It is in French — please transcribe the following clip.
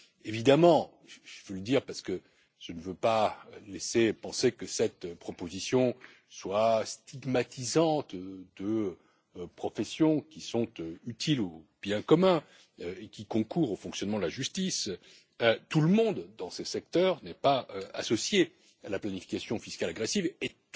Évidemment, je veux le dire parce que je ne veux pas laisser penser que cette proposition est stigmatisante de professions qui sont utiles au bien commun et qui concourent au fonctionnement de la justice, tout le monde dans ce secteur n'est pas associé à la planification fiscale agressive et